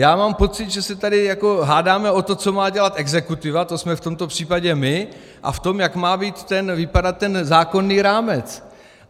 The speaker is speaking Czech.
Já mám pocit, že se tady hádáme o to, co má dělat exekutiva, to jsme v tomto případě my, a v tom, jak má vypadat ten zákonný rámec.